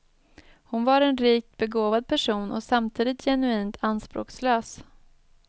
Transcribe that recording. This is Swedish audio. Hon var en rikt begåvad person och samtidigt genuint anspråkslös.